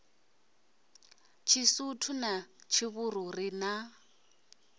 tshisuthu na tshivhuru ri na